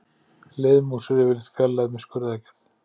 Liðmús er yfirleitt fjarlægð með skurðaðgerð.